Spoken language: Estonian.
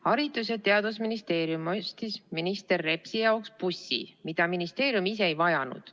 Haridus- ja Teadusministeerium ostis minister Repsi jaoks bussi, mida ministeerium ise ei vajanud.